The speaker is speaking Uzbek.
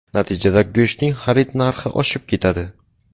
Natijada go‘shtning xarid narxi oshib ketadi.